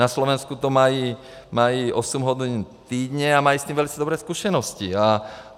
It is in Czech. Na Slovensku to mají 8 hodin týdně a mají s tím velice dobré zkušenosti.